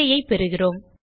பிழையைப் பெறுகிறோம்